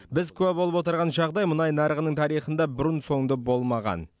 біз куә болып отырған жағдай мұнай нарығының тарихында бұрын соңды болмаған